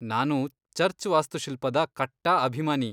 ನಾನು ಚರ್ಚ್ ವಾಸ್ತುಶಿಲ್ಪದ ಕಟ್ಟಾ ಅಭಿಮಾನಿ.